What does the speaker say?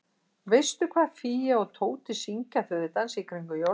Veistu hvað Fía og Tóti syngja þegar þau dansa í kringum jólatréð?